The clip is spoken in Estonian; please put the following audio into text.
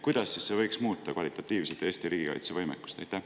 Kuidas võiks see kvalitatiivselt muuta Eesti riigikaitsevõimekust?